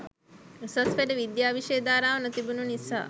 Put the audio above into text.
උසස් පෙළ විද්‍යා විෂය ධාරාව නොතිබුණ නිසා